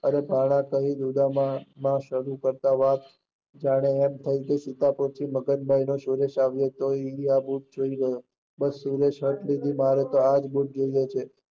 અરે ભાણા કહીંયુ ઉદ્દમામાં શરૂવાત કરતા હતા એમ થયું કે સુકાથી સુરેશ આવ્યો હતો, ઇન્ડિયા જોઈ ગયો, બસ સુરેશ આ જ જોઈએ છે.